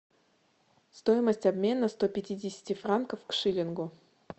стоимость обмена ста пятидесяти франков к шиллингу